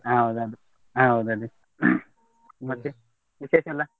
ಹೌದ್ ಅದು, ಹೌದ್ ಅದೇ . ಮತ್ತೆ ವಿಶೇಷ ಎಲ್ಲಾ?